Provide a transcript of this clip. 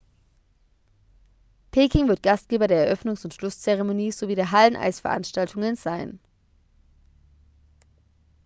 peking wird gastgeber der eröffnungs und schlusszeremonie sowie der halleneisveranstaltungen sein